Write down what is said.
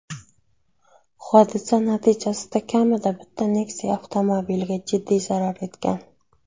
Hodisa natijasida kamida bitta Nexia avtomobiliga jiddiy zarar yetgan.